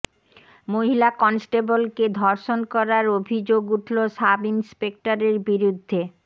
মহিলা কনস্টেবলকে ধর্ষণ করার অভিযোগ উঠল সাব ইন্সপেক্টরের বিরুদ্ধে